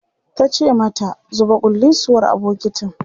tace mata "zuba kullisuwar a bukitin!"